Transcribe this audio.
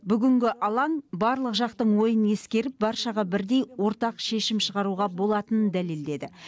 бүгінгі алаң барлық жақтың ойын ескеріп баршаға бірдей ортақ шешім шығаруға болатынын дәлелдеді